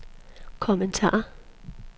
kommentar